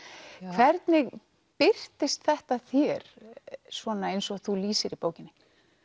hvernig birtist þetta þér svona eins og þú lýsir í bókinni